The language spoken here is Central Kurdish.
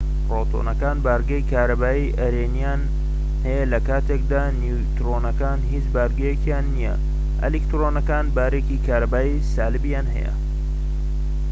پرۆتۆنەکان بارگەی کارەبایی ئەرێنیان هەیە لە کاتێکدا نیوترۆنەکان هیچ بارگەیەکیان نییە ئەلکترۆنەکان بارێکی کارەبایی سالبیان هەیە